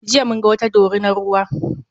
Jiya mun ga wata dorinar ruwa.